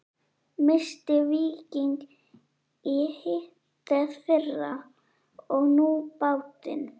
Missti Víking í hitteðfyrra og nú bátinn.